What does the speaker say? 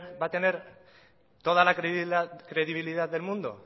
va a tener toda la credibilidad del mundo